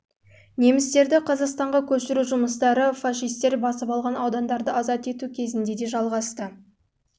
немістерді қазақстанға көшіру жұмыстары фашистер басып алған аудандарды азат ету кезінде де жалғасты